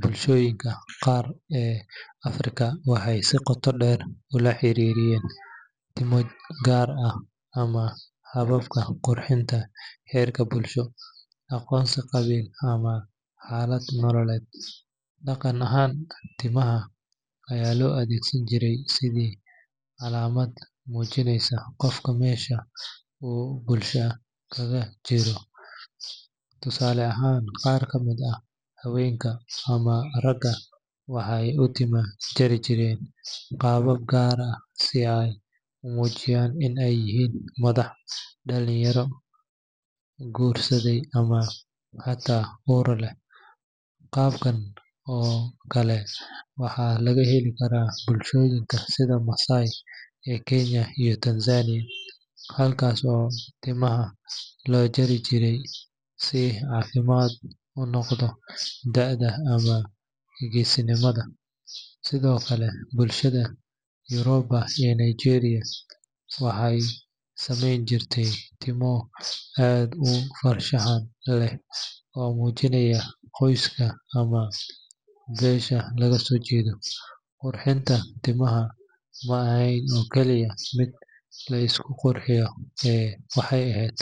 Bulshooyinka qaar ee Afrika waxay si qoto dheer ula xiriiriyeen timo gaar ah ama hababka qurxinta heerka bulsho, aqoonsi qabiil, ama xaalad nololeed. Dhaqan ahaan, timaha ayaa loo adeegsan jiray sidii calaamad muujinaysa qofka meesha uu bulshada kaga jiro. Tusaale ahaan, qaar ka mid ah haweenka ama ragga waxay u timo jari jireen qaabab gaar ah si ay u muujiyaan in ay yihiin madax, dhalinyaro, guursaday ama xataa uur leh. Qaababkan oo kale waxaa laga heli karaa bulshooyinka sida Maasai ee Kenya iyo Tanzania, halkaas oo timaha loo xiiri jirey si calaamad u noqda da’da ama geesinimada. Sidoo kale, bulshada Yoruba ee Nigeria waxay samayn jireen timo aad u farshaxan leh oo muujinaysa qoyska ama beesha laga soo jeedo. Qurxinta timaha ma ahayn oo kaliya mid la isku qurxiyo ee waxay ahayd